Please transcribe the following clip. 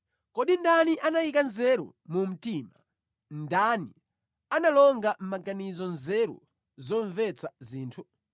Kodi ndani anayika nzeru mu mtima, ndani analonga mʼmaganizo nzeru zomvetsa zinthu?